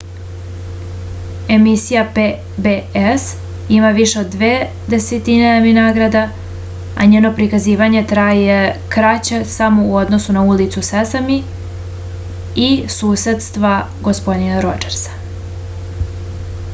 emisija pbs ima više od dve desetine emi nagrada a njeno prikazivanje traje kraće samo u odnosu na ulicu sesami i susedstva gospodina rodžersa